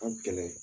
A gɛlɛn